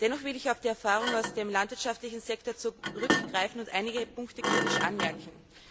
Dennoch will ich auf die Erfahrungen aus dem landwirtschaftlichen Sektor zurückgreifen und einige Punkte kritisch anmerken.